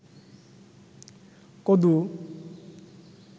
কদু